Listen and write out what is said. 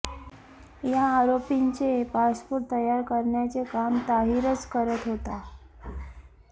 या आरोपींचे पासपोर्ट तयार करण्याचे काम ताहीरच करत होता